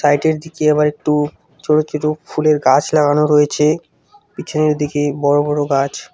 সাইটের দিকে আবার একটু ছোট ছোট ফুলের গাছ লাগানো রয়েছে পিছনের দিকে বড়ো বড়ো গাছ।